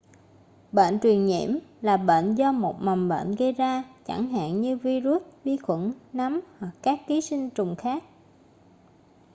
bệnh truyền nhiễm là bệnh do một mầm bệnh gây ra chẳng hạn như vi-rút vi khuẩn nấm hoặc các ký sinh trùng khác